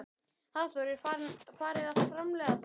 Hafþór: Er farið að framleiða þá?